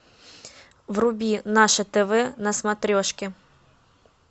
вруби наше тв на смотрешке